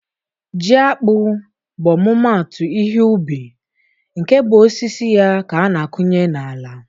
Ji akpụ bụ ọmụmatụ ihe ubi nke bụ osisi ya ka a na-akụnye na-ala.